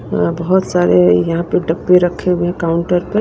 अह बहुत सारे यहां पे डब्बे रखे हुए हैं काउंटर पे।